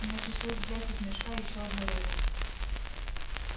мне пришлось взять из мешка ещё одну рыбу